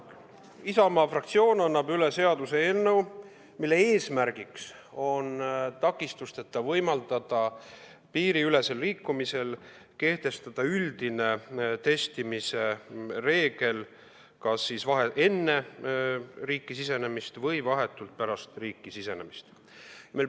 Isamaa fraktsioon annab üle seaduseelnõu, mille eesmärk on takistusteta võimaldada piiriülesel liikumisel kehtestada üldine testimise kohustus kas enne riiki sisenemist või vahetult pärast riiki sisenemist.